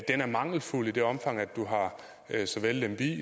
er mangelfuld i det omfang at du har så vel lemvig